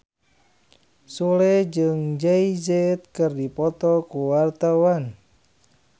Sule jeung Jay Z keur dipoto ku wartawan